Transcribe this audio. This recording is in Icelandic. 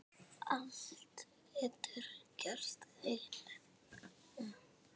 Allt getur gerst, Ellen.